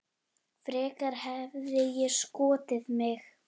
Frekar hefði ég skotið mig.